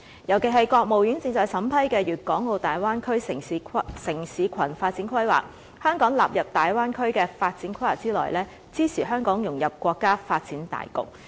尤其是國務院正在審批的《粵港澳大灣區城市群發展規劃》，香港納入大灣區的發展規劃之內，支持香港融入國家發展大局。